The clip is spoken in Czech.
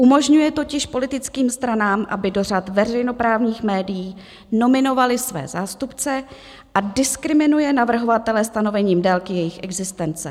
Umožňuje totiž politickým stranám, aby do řad veřejnoprávních médií nominovaly své zástupce, a diskriminuje navrhovatele stanovením délky jejich existence.